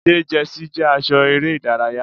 Ṣé jẹ́sí jẹ́ aṣọ eré ìdárayá?